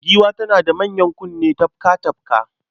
Giwa tana da manyan kunne tafka-tafka